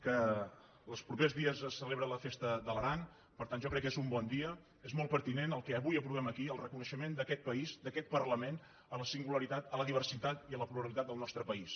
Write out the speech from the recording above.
que els propers dies es celebra la festa de l’aran per tant jo crec que és un bon dia és molt pertinent que avui aprovem aquí el reconeixement d’aquest país d’aquest parlament a la singularitat a la diversitat i a la pluralitat del nostre país